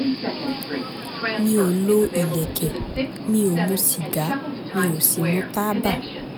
mi ò lo ìlẹ̀kẹ̀ mi ò mu sìgá mi ò sì mu mu tábà